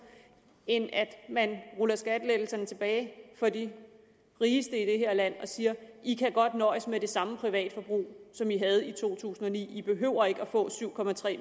end at man ruller skattelettelserne tilbage for de rigeste i det her land og siger i kan godt nøjes med det samme privatforbrug som i havde i to tusind og ni i behøver ikke at få syv